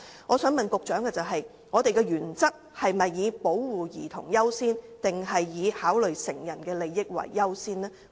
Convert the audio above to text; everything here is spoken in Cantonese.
我想問局長，究竟我們的原則是以保護兒童為優先，抑或以考慮成人的利益為優先？